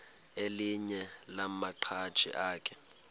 elinye lamaqhaji akhe